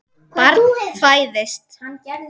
Barn fæðist.